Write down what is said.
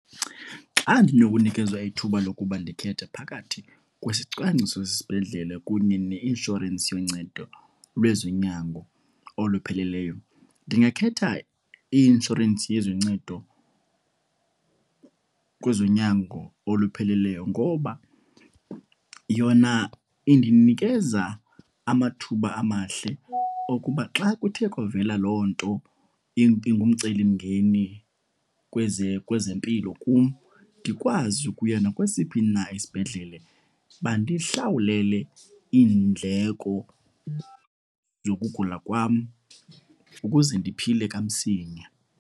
Xa ndinokunikezwa ithuba lokuba ndikhethe phakathi kwesicwangciso sesibhedlele kunye neinshorensi yoncedo lwezonyango olupheleleyo, ndingakhetha i-inshorensi yezoncedo kwezonyango olupheleleyo. Ngoba yona indinikeza amathuba amahle okuba xa kuthe kwavela loo nto ingumcelimngeni kwezempilo kum, ndikwazi ukuya nakwesiphi na isibhedlele bandihlawulele iindleko zokugula kwam ukuze ndiphile kamsinya.